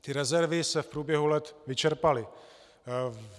Ty rezervy se v průběhu let vyčerpaly.